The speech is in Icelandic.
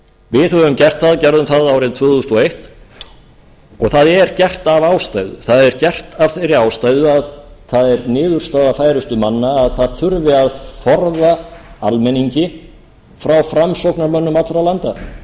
við höfum gert það gerðum það árið tvö þúsund og eins og það er gert af ástæðu það er gert af þeirri ástæðu að það er niðurstaða þeirra færustu manna að það þurfi að forða almenningi frá framsóknarmönnum allra landa forða þeim frá því